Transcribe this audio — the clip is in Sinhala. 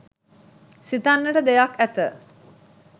සිතන්නට දෙයක් ඇත.